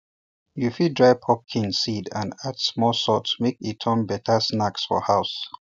you fit fry pumpkin seeds and add small salt make e turn better snack for house